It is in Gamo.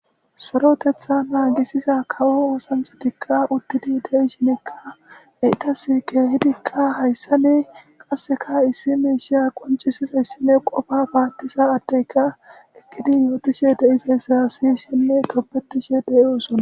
Sorotetha naagisiza kawo wosanhotikka uttidi de'i shinekka eitas keehidikka hayssa ne qasseka issi meeshiya qoncisiza yssine qofa baattiza addeyka ekkidi yootishe deizay sasi shenne toppetishe de'i osona.